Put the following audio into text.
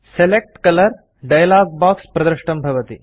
select colour dialogue box प्रदृष्टं भवति